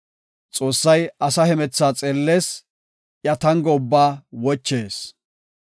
“Xoossay asa hemethaa xeellees; iya tango ubbaa wochees.